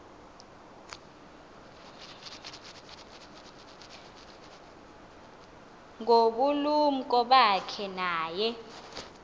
ngobulumko bakhe naye